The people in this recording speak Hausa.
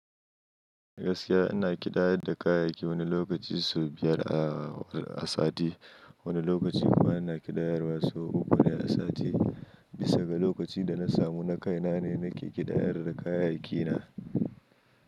Gaskiya ina kidayar da kayayyaki wani lokaci sau biyar a, a sati. Wani lokaci kuma ana ƙidayar wasu uku ne a sati. Bisa ga lokacin da na samu na kaina ne, nake ƙidayar da kayayyaki na.